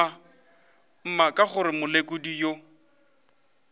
mma ka gore molekodi yo